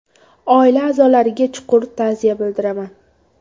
Oila a’zolariga chuqur ta’ziya bildiraman”.